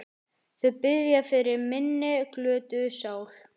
Þau biðja fyrir minni glötuðu sál.